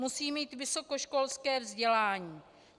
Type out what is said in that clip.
Musí mít vysokoškolské vzdělání.